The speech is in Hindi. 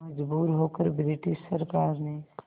मजबूर होकर ब्रिटिश सरकार ने